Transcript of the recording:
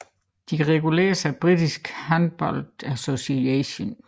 De reguleres af British Handball Association